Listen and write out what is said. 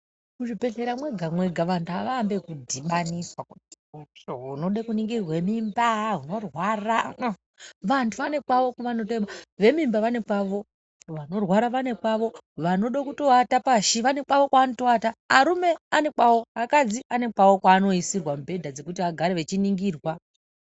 Mu zvibhedhlera mwega mwega vantu ava ambi eku dhibaniswa kuti unode ku ningirwa mimba unorwara vantu vane kwavo ve mimba vane kwavo vanorwara vane kwavo vanode kuto ata pashi vane kwavo kwa vanoto arume ane kwavo akadzi ane kwavo kwa ano isirwa mibhedha dzekuti agare vechi ningirwa.